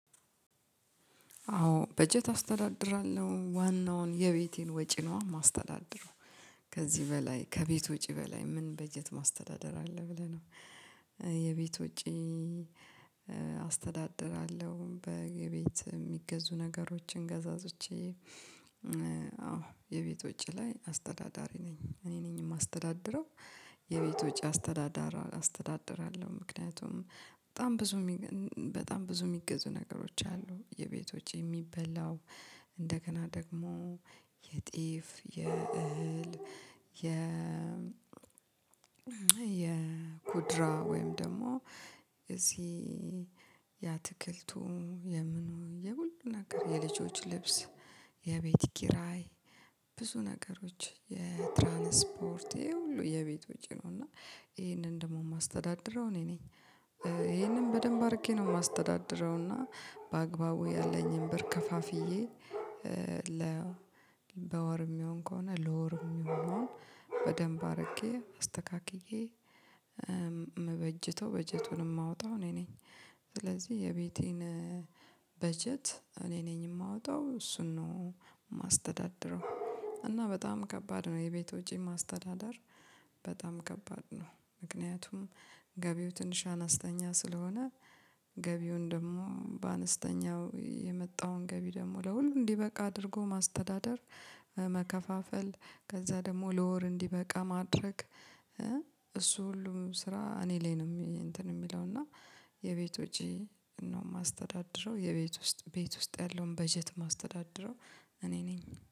አዎ በጀት አስተዳድራለሁ ዋናውን የቤቴን ወጪ ነው የማስተዳድረው ከዚህ በላይ ከቤት ወጪ በላይ ምን በጀት ማስተዳደር አለ ብለ ነው የቤት ወጪ አስተዳድራለው በግቢት የሚገዙ ነገሮችን ገዛዝቼ አዎ የቤት ወጪ ላይ አስተዳዳሪ ነኝ እኔ ነኝ የማስተዳድረው። የቤት ወጪ አስተዳዳሪ አስተዳድራለው ምክንያቱም በጣም ብዙ በጣም ብዙ የሚገዙ ነገሮች አሉ የቤቶች የሚበላው እንደገና ደግሞ የጤፍ የእህል የ የኩድራ ወይም ደግሞ እዚህ ያአትክልቱ የምኑ የሁሉን ነገር የልጆች ልብስ የቤት ኪራይ ብዙ ነገሮች የትራንስፖርት ይሄ ሁሉ የቤት ውጪ ነው እና ይሄንን ደግሞ የማስተዳድረው እኔ ነኝ ይሄንን በደንብ አድርጌ ነው የማስተዳድረው እና በአግባቡ ያለኝን ብር ከፋፍዬ ለ በወር የሚሆን ከሆነ ለወር የሚሆን አረጌ አስተካክዬ ምበጅቸው በጀቱንም ማወጣው እኔ ነኝ። ስለዚህ የቤቴን በጀት እኔ ነኝ የማወጣው እሱን ነው የማስተዳድረው። እና በጣም ከባድ ነው የቤት ወጪ ማስተዳደር በጣም ከባድ ነው ምክንያቱም ገቢው ትንሽ አነስተኛ ስለሆነ ገቢውን ደግሞ በአነስተኛው የመጣዉን ገቢ ደግሞ ለሁሉም እንዲበቃ አድርጎ ማስተዳደር መከፋፈል ከዛ ደግሞ ለወር እንዲበቃ ማድረግ እሱ ሁሉም ስራ እኔ ላይ ነው አንትን የሚለው እና የቤቶቼ ነው የማስተዳድረው የቤት ውስጥ ቤት ውስጥ ያለውን በጀት የማስተዳድረው እኔ ነኝ።